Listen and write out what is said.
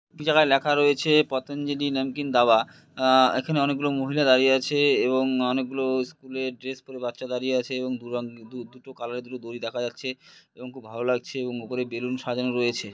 দু জায়গায় লেখা রয়েছে-এ পতঞ্জলি নামকিন দাবা । আ এখানে অনেকগুলি মহিলা দাঁড়িয়ে আছে এবং অনেকগুলো-ও স্কুলের ড্রেস পরে বাচ্চা দাঁড়িয়ে আছে এবং দুরা দু দুটো কালারের দুটো দড়ি দেখা যাচ্ছে এবং খুব ভালো লাগছে এবং উপরে বেলুন সাজানো রয়েছে ।